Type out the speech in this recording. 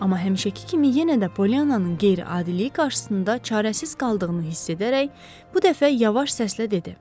Amma həmişəki kimi yenə də Polyannanın qeyri-adiliyi qarşısında çarəsiz qaldığını hiss edərək bu dəfə yavaş səslə dedi: